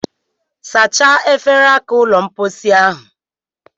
Sachaa efere aka ụlọmpochi ahụ